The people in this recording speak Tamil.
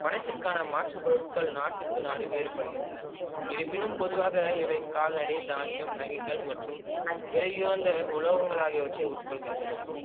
பணத்திற்கான மாற்று பொருட்கள் நாட்டுக்கு நாடு வேறு படுகின்றன இருப்பினும் பொதுவாக இவை கால்நடை தானியம் நகைகள் மற்றும் விலை உயர்ந்த உலோகங்கள் ஆகியவற்றை உட்கொள்கின்றன